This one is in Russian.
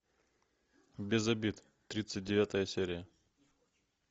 без обид тридцать девятая серия